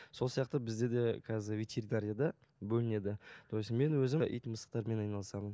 сол сияқты бізде де қазір ветеринарияда бөлінеді то есть мен өзім ит мысықтармен айналысамын